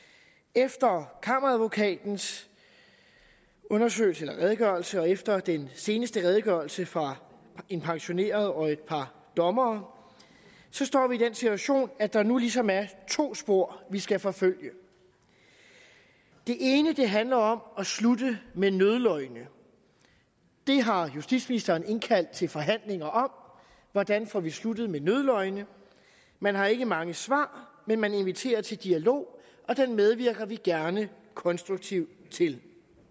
efter kammeradvokatens redegørelse og efter den seneste redegørelse fra en pensioneret og et par dommere står vi i den situation at der nu ligesom er to spor vi skal forfølge det ene handler om at slutte med nødløgne det har justitsministeren indkaldt til forhandlinger om hvordan får vi sluttet med nødløgne man har ikke mange svar men man inviterer til dialog og den medvirker vi gerne konstruktivt til